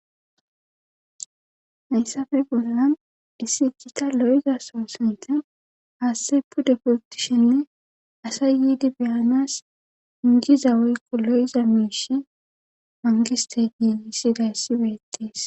hayssafe bolla dissi ikita lo7eza soo sente haashtey pude purtishenne asay yiidi beyanas ingiza woykko lo7iza miishi mangiste ginissi dayssibeettees